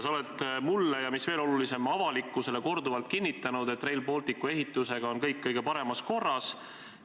Sa oled mulle – ja mis veel olulisem, avalikkusele – korduvalt kinnitanud, et Rail Balticu ehitusega on kõik kõige paremas korras.